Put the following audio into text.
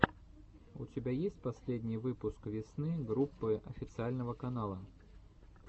у тебя есть последний выпуск весны группы официального канала